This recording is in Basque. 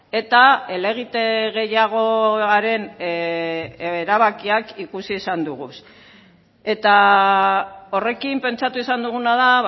eta helegite gehiagoaren erabakiak ikusi izan dugu eta horrekin pentsatu izan duguna da